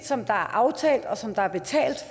som der er aftalt og som der er betalt